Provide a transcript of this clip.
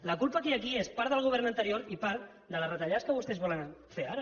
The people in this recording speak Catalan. la culpa que hi ha aquí és en part del govern anterior i en part de les retallades que vostès volen fer ara